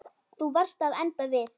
Þú varst að enda við.